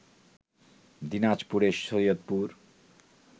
দিনাজপুরের সৈয়দপুর